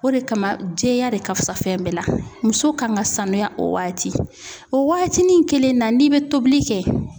O de kama jɛya de ka fusa fɛn bɛɛ la. Muso kan ka sanuya o waati ,o waatinin kelen na n'i be tobili kɛ